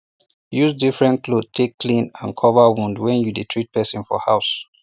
use different cloth take clean and cover wound when you dey treat person for house